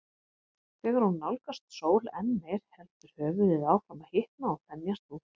Þegar hún nálgast sól enn meir heldur höfuðið áfram að hitna og þenjast út.